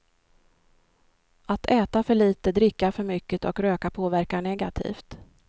Att äta för lite, dricka för mycket och röka påverkar negativt.